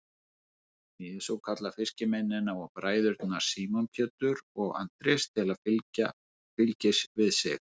Jesús kallar fiskimennina og bræðurna Símon Pétur og Andrés til fylgis við sig.